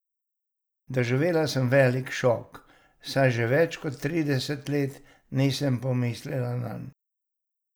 Doživela sem velik šok, saj že več kot trideset let nisem pomislila nanj.